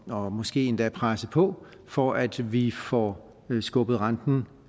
og måske endda presse på for at vi får skubbet renten